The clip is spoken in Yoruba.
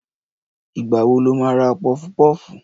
Ìgbà wo lo má ra pọfu-pọ́fù?